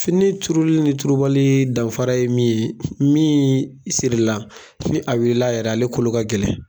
Fini turuli ni tubali danfara ye min ye, min siri la ni a wulila a yɛrɛ ye, ale kolo ka gɛlɛn.